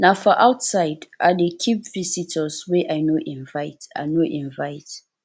na for outside i dey keep visitors wey i no invite i no invite